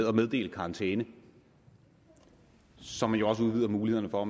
at meddele karantæne som man jo også udvider mulighederne for og